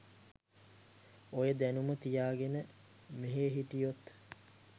ඔය දැනුම තියාගෙන මෙහෙ හිටියොත්